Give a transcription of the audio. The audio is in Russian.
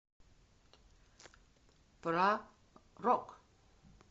про рок